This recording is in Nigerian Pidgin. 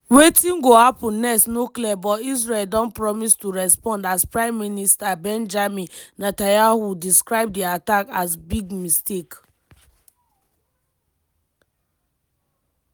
wetin go happun next no clear but israel don promise to respond as prime minister benjamin netanyahu describe di attack as “big mistake”